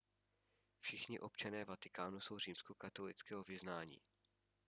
všichni občané vatikánu jsou římskokatolického vyznání